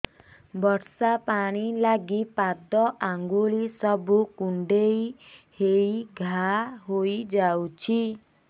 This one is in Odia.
ବର୍ଷା ପାଣି ଲାଗି ପାଦ ଅଙ୍ଗୁଳି ସବୁ କୁଣ୍ଡେଇ ହେଇ ଘା ହୋଇଯାଉଛି